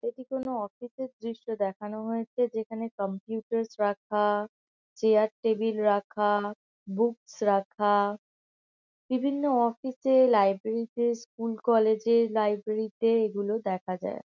এটি কোনো অফিস -এর দৃশ্য দেখানো হয়েছে। যেখানে কম্পিউটারস রাখা চেয়ার টেবিল রাখা বুকস রাখা। বিভিন্ন অফিস -এ লাইব্রেরি -তে স্কুল কলেজ -এর লাইব্রেরি -তে এগুলো দেখা যায়।